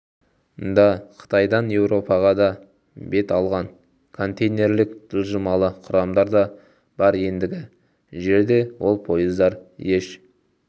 да қытайдан еуропаға бет алған контейнерлік жылжымалы құрамдар да бар ендігі жерде ол пойыздар еш